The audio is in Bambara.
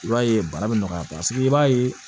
I b'a ye bana bɛ nɔgɔya paseke i b'a ye